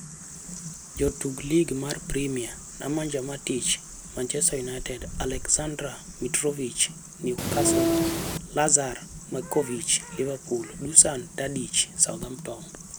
Jotuk Lig mar Premia: Nemanja Matic (Manchester United), Aleksandar Mitrovic (Newcastle), Lazar Markovic (Liverpool), Dusan Tadic (Southampton).